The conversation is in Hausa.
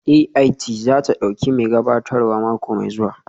AIT za ta ɗauki mai gabatarwa mako mai zuwa